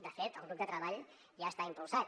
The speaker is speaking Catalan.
de fet el grup de treball ja està impulsat